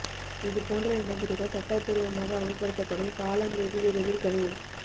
இது போன்ற நடைமுறைகள் சட்டப்பூா்வமாக அமல்படுத்தப்படும் காலம் வெகு விரைவில் கனியும்